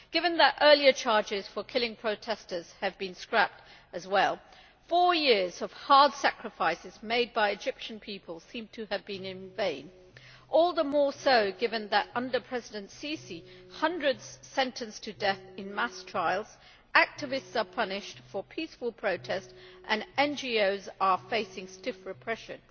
Given that earlier charges for killing protestors have been scrapped as well, four years of hard sacrifices made by the Egyptian people seem to have been in vain, all the more so given that, under President Sisi, hundreds are sentenced to death in mass trials, activists are punished for peaceful protests and NGOs are facing stiff repression.